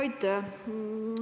Aitäh!